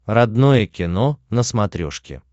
родное кино на смотрешке